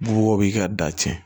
Bubaw b'i ka da cɛn